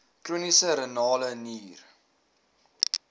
chroniese renale nier